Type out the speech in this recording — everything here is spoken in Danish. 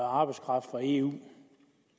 arbejdskraft fra eu